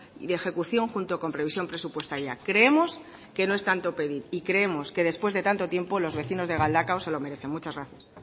y de ejecución junto con previsión presupuestaria creemos que no es tanto pedir y creemos que después de tanto tiempo los vecinos de galdakao se lo merecen muchas gracias